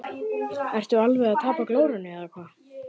Ertu alveg að tapa glórunni eða hvað!